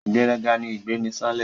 Ìgbéraga ni ìgbéniṣánlẹ̀